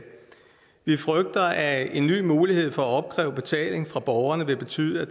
vi frygter at en ny mulighed for at opkræve betaling fra borgerne vil betyde at